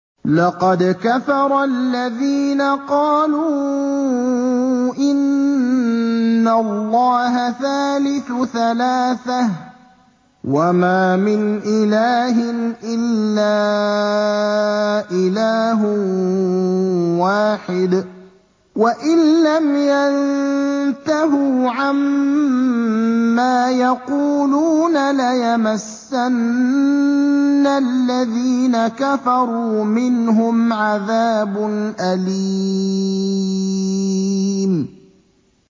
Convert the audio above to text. لَّقَدْ كَفَرَ الَّذِينَ قَالُوا إِنَّ اللَّهَ ثَالِثُ ثَلَاثَةٍ ۘ وَمَا مِنْ إِلَٰهٍ إِلَّا إِلَٰهٌ وَاحِدٌ ۚ وَإِن لَّمْ يَنتَهُوا عَمَّا يَقُولُونَ لَيَمَسَّنَّ الَّذِينَ كَفَرُوا مِنْهُمْ عَذَابٌ أَلِيمٌ